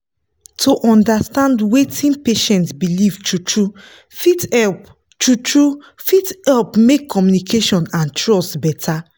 to understand wetin patient believe true-true fit help true-true fit help make communication and trust better.